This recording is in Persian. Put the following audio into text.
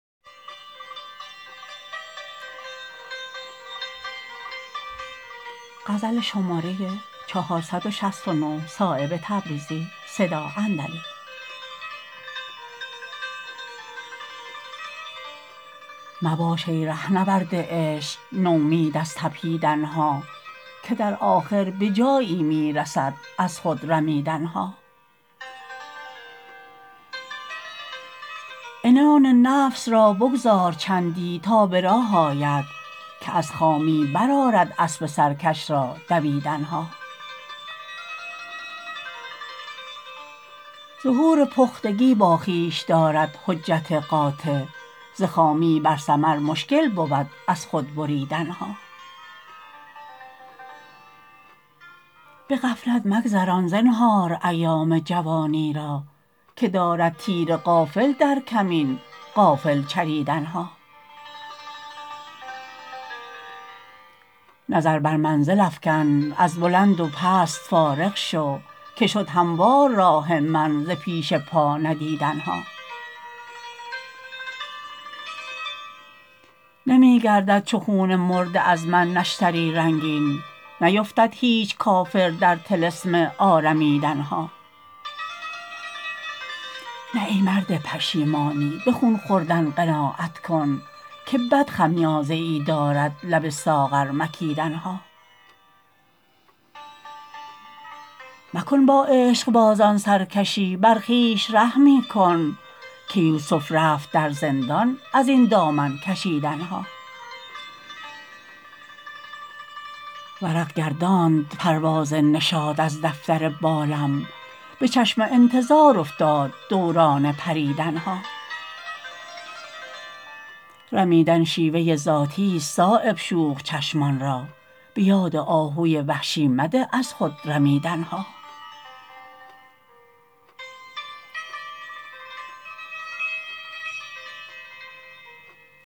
مباش ای رهنورد عشق نومید از تپیدن ها که در آخر به جایی می رسد از خود رمیدن ها عنان نفس را بگذار چندی تا به راه آید که از خامی برآرد اسب سرکش را دویدن ها ظهور پختگی با خویش دارد حجت قاطع ز خامی بر ثمر مشکل بود از خود بریدن ها به غفلت مگذران زنهار ایام جوانی را که دارد تیر غافل در کمین غافل چریدن ها نظر بر منزل افکن از بلند و پست فارغ شو که شد هموار راه من ز پیش پا ندیدن ها نمی گردد چو خون مرده از من نشتری رنگین نیفتد هیچ کافر در طلسم آرمیدن ها نه ای مرد پشیمانی به خون خوردن قناعت کن که بد خمیازه ای دارد لب ساغر مکیدن ها مکن با عشقبازان سرکشی بر خویش رحمی کن که یوسف رفت در زندان ازین دامن کشیدن ها ورق گرداند پرواز نشاط از دفتر بالم به چشم انتظار افتاد دوران پریدن ها رمیدن شیوه ذاتی است صایب شوخ چشمان را به یاد آهوی وحشی مده از خود رمیدن ها